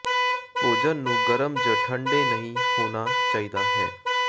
ਭੋਜਨ ਨੂੰ ਗਰਮ ਜ ਠੰਡੇ ਨਹੀ ਹੋਣਾ ਚਾਹੀਦਾ ਹੈ